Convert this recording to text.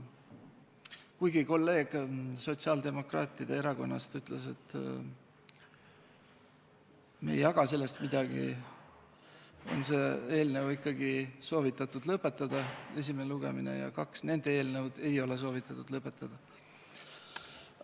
Kuigi kolleeg sotsiaaldemokraatide erakonnast ütles, et me ei jaga sellest midagi, on ikkagi soovitatud selle eelnõu esimene lugemine lõpetada, kahe nende eelnõu lugemist ei ole soovitatud lõpetada.